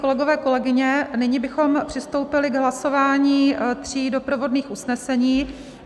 Kolegové, kolegyně, nyní bychom přistoupili k hlasování tří doprovodných usnesení.